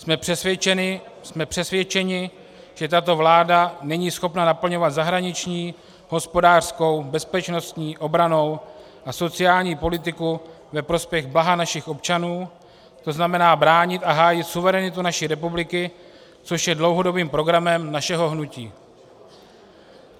Jsme přesvědčeni, že tato vláda není schopna naplňovat zahraniční, hospodářskou, bezpečnostní, obrannou a sociální politiku ve prospěch blaha našich občanů, to znamená bránit a hájit suverenitu naší republiky, což je dlouhodobým programem našeho hnutí.